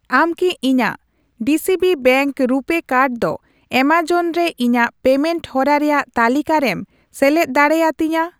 ᱟᱢ ᱠᱤ ᱤᱧᱟ.ᱜ ᱰᱤᱥᱤᱵᱤ ᱵᱮᱝᱠ ᱨᱩᱯᱮ ᱠᱟᱨᱰ ᱫᱚ ᱮᱢᱟᱡᱚᱱ ᱨᱮ ᱤᱧᱟᱜ ᱯᱮᱢᱮᱱᱴ ᱦᱚᱨᱟ ᱨᱮᱭᱟᱜ ᱛᱟᱹᱞᱤᱠᱟ ᱨᱮᱢ ᱥᱮᱞᱮᱫ ᱫᱟᱲᱮ ᱟᱹᱛᱤᱧᱟ ?